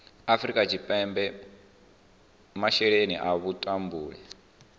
afrika tshipembe masheleni a vhutumbuli